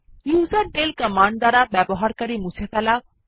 userdel command দ্বারা user মুছে ফেলা